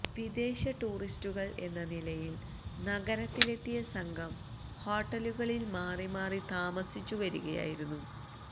വിദേശടൂറിസ്റ്റുകള് എന്ന നിലയില് നഗരത്തിലെത്തിയ സംഘം ഹോട്ടലുകളില് മാറിമാറി താമസിച്ചുവരികയായിരുന്നു